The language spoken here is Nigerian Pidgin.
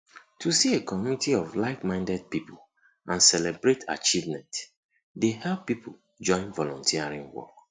to see a community of likeminded people and celebrate achievemnent dey help people join volunteering work